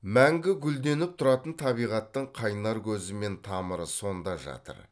мәңгі гүлденіп тұратын табиғаттың қайнар көзі мен тамыры сонда жатыр